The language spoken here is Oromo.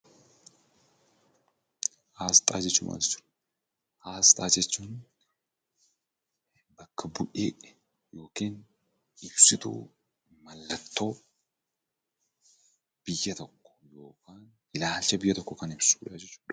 Asxaa jechuun maal jechuudha? Aasxaa jechuun bakka bu'ee yookin ibsituu mallattoo biyya tokko yookaan ilaalcha biyya tokkoo kan ibsudha jechuudha.